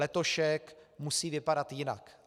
Letošek musí vypadat jinak.